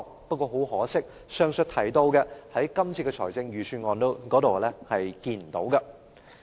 不過，很可惜，前述的範疇，在今次這份預算案中也看不到。